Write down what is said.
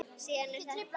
Síðan er ekkert planað.